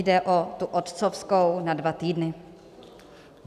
Jde o tu otcovskou na dva týdny.